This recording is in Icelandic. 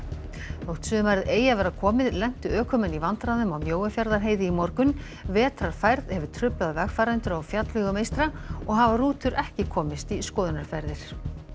þótt sumarið eigi að vera komið lentu ökumenn í vandræðum á Mjóafjarðarheiði í morgun vetrarfærð hefur truflað vegfarendur á fjallvegum eystra og hafa rútur ekki komist í skoðunarferðir